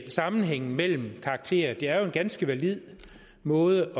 sammenhængen mellem karakterer det er jo en ganske valid måde